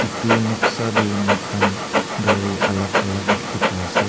etu noksa teh moikhan gari alag alag dikhi pai ase.